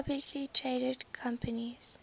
publicly traded companies